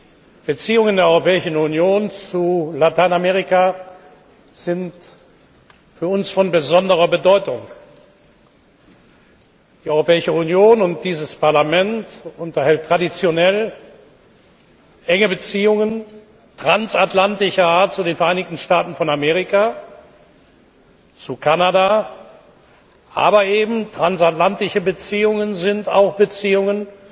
Die Beziehungen der Europäischen Union zu Lateinamerika sind für uns von besonderer Bedeutung. Die Europäische Union und dieses Parlament unterhalten traditionell enge Beziehungen transatlantischer Art zu den Vereinigten Staaten von Amerika, zu Kanada. Aber transatlantische Beziehungen sind eben auch Beziehungen